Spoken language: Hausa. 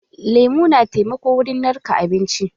Lemu na taimako wurin narka abinci.